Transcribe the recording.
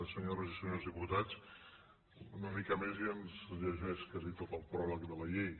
senyores i senyors diputats una mica més i ens llegeix quasi tot el pròleg de la llei